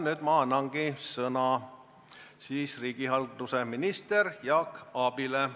Nüüd ma annangi sõna riigihalduse ministrile Jaak Aabile.